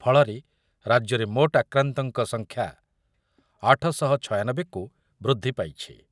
ଫଳରେ ରାଜ୍ୟରେ ମୋଟ ଆକ୍ରାନ୍ତଙ୍କ ସଂଖ୍ୟା ଆଠ ଶହ ଛୟାନବେ କୁ ବୃଦ୍ଧି ପାଇଛି।